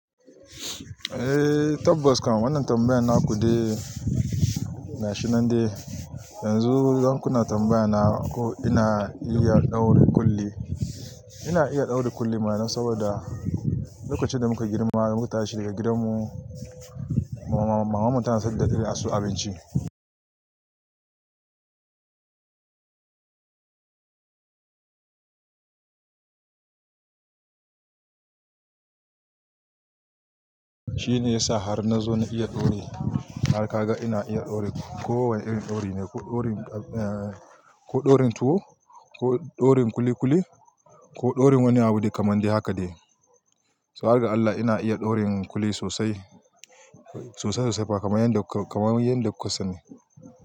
Eh, tabbas kam wannan tambayan na ku de gashi nan dai yanzu. Don kuna tambaya na ko ina iya ɗaure kuli. Ina iya ɗaure kulli mana don saboda lokacin da muka girma, muka tashi daga gidan mu, maman mu tana san da a sayo abinci. Shine yasa har na zo na iya ɗauri har ka ga ina iya ɗaure ko wane irin ɗauri ne, ko ɗaurin tuwo, ko ɗaurin kuli kuli, ko ɗaurin wani abu dai kaman dai haka de. So har ga Allah ina iya ɗaurin kuli sosai, sosai sosai fa kaman yanda kuka sani.